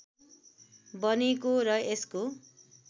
बनेको र यसको